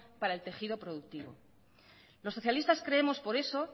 para el tejido productivo los socialistas creemos por eso